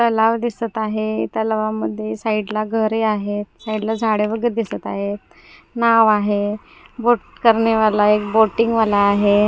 तलाव दिसत आहे त्याला मध्ये साईडला घरे आहेत साईडला झाडे वगैरे दिसत आहेत नाव आहे बोट करने वाला एक बोटिंग वाला आहे.